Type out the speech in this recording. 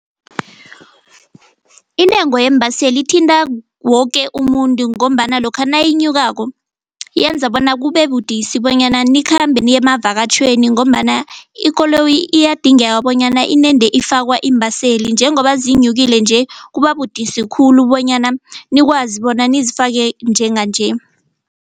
Intengo yeembaseli ithinta woke umuntu ngombana lokha nayinyukako yenza bona kube budisi bonyana nikhambe niyemavatjhweni ngobambana ikoloyi iyadingeka bonyana inede ifakwa iimbaseli njengoba zinyukele nje kuba budisi khulu bonyana nikwazi bona nizifake njenganje.